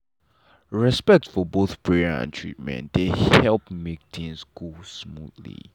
respect for both prayer and treatment dey help make things go smoothly.